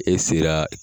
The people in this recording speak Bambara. E sera